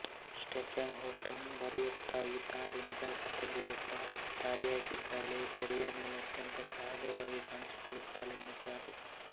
Stephen Holden ಬರೆಯುತ್ತಾ ಈ ತಾರೆ ನಿಜ ಅರ್ಥದಲ್ಲಿ ಒಬ್ಬ ತಾರೆಯಾಗಿದ್ದಾಳೆ ತೆರೆಯ ಮೇಲೆ ಅತ್ಯಂತ ಸಹಜವಾಗಿ ಕಾಣಿಸಿಕೊಳ್ಳುತ್ತಾಳೆ ಎನ್ನುತ್ತಾರೆ